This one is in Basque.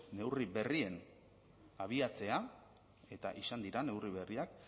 neurri berrien abiatzea eta izan dira neurri berriak